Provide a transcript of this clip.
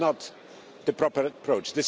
This is not the proper approach.